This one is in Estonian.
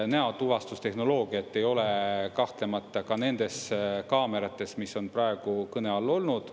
Näotuvastustehnoloogiat ei ole kahtlemata ka nendes kaamerates, mis on praegu kõne all olnud.